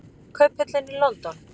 Kauphöllin í London.